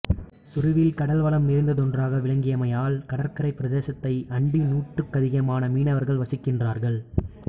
சுருவில் கடல்வளம் நிறைந்ததொன்றாக விளங்கியமையால் கடற்கரைப் பிரதேசத்தை அண்டி நூற்றுக்கதிகமான மீனவர்கள் வசிக்கின்றார்கள்